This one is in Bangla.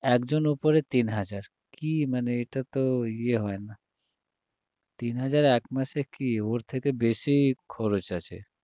একজনের ওপরে তিনহাজার কী মানে এটা তো ইয়ে হয় না তিন হাজার একমাসে কী ওর থেকে বেশি খরচ আছে